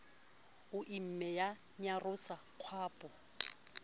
o imme ya nyarosa kgwapo